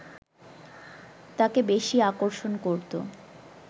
তাকে বেশি আকর্ষণ করতো